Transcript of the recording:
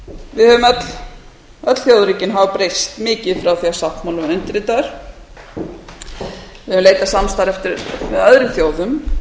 við höfum öll þjóðríkin hafa breyst mikið frá því sáttmálinn var undirritaður við höfum leitað samstarfs með öðrum þjóðum